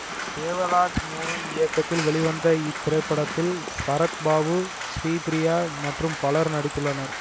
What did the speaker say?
தேவராஜ் மோகன் இயக்கத்தில் வெளிவந்த இத்திரைப்படத்தில் சரத் பாபு ஸ்ரீபிரியா மற்றும் பலரும் நடித்துள்ளனர்